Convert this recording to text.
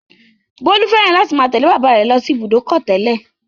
Bólú fẹ́ràn láti máa tẹ̀lé bàbá rẹ̀ lọ sí Ibùdó-ọkọ̀ tẹ́lẹ̀.